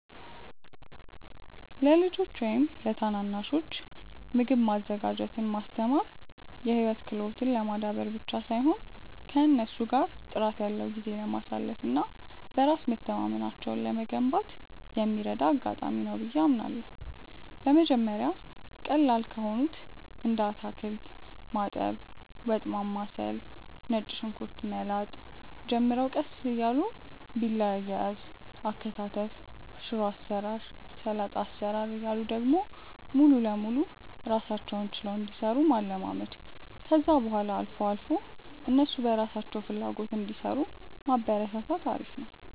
ለልጆች ወይም ለታናናሾች ምግብ ማዘጋጀትን ማስተማር የህይወት ክህሎትን ለማዳበር ብቻ ሳይሆን ከእነሱ ጋር ጥራት ያለው ጊዜ ለማሳለፍ እና በራስ መተማመናቸውን ለመገንባት የሚረዳ አጋጣሚ ነው ብዬ አምናለሁ። በመጀመሪያ ቀላል ከሆኑት እንደ አታክልት ማጠብ፣ ወጥ ማማሰል፣ ነጭ ሽንኩርት መላጥ ጀምረው ቀስ እያሉ ቢላ አያያዝ፣ አከታተፍ፣ ሽሮ አሰራር፣ ሰላጣ አሰራር እያሉ ደግሞ ሙሉ ለሙሉ ራሳቸውን ችለው እንዲሰሩ ማለማመድ፣ ከዛ በኋላ አልፎ አልፎ እነሱ በራሳቸው ፍላጎት እንዲሰሩ ማበረታታት አሪፍ ነው።